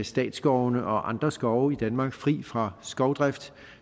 statsskovene og andre skove i danmark fri fra skovdrift